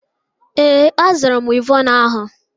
Ee, azụrụ m wivọnụ ahụ.